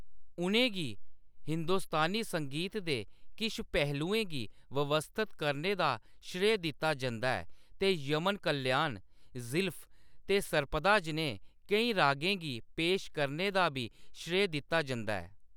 उʼनें गी हिंदुस्तानी संगीत दे किश पहलुएं गी व्यवस्थित करने दा श्रेय दित्ता जंदा ऐ, ते यमन कल्याण, ज़ीलफ ते सर्पदा जनेह् केईं रागें गी पेश करने दा बी श्रेय दित्ता जंदा ऐ।